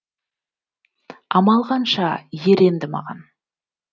амал қанша ер енді маған